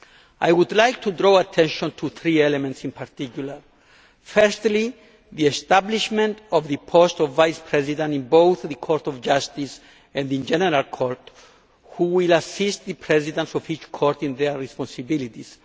I would like to draw attention to three elements in particular firstly, the establishment of the post of Vice President in both the Court of Justice and the General Court who will assist the Presidents of each Court in their responsibilities